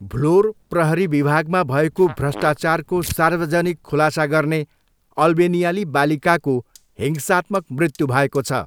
भ्लोर प्रहरी विभागमा भएको भ्रष्टाचारको सार्वजनिक खुलासा गर्ने अल्बेनियाली बालिकाको हिंसात्मक मृत्यु भएको छ।